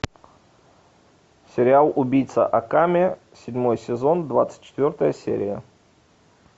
сериал убийца акаме седьмой сезон двадцать четвертая серия